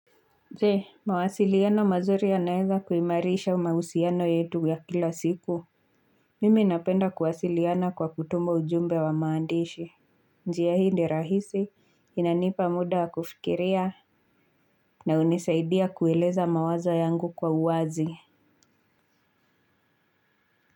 Zee, mawasiliano mazuri yanaweza kuimarisha mahusiano yetu ya kila siku. Mimi napenda kuwasiliana kwa kutuma ujumbe wa maandishi. Njia hii ni rahisi inanipa muda kufikiria na hunisaidia kueleza mawazo yangu kwa uwazi.